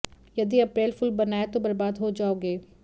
यदि April fool बनाया तो बर्बाद हो जाओगे